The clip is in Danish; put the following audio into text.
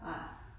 Nej